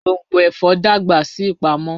Gbongbo ẹfọ dagba si ipamo.